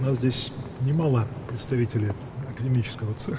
Burada akademik sahənin nümayəndələri az deyil.